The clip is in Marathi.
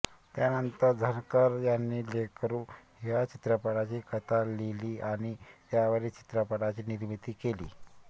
त्यानंतर झणकर यांनी लेकरू ह्या चित्रपटाची कथा लिहिली आणि त्यावरील चित्रपटाची निर्मिती केली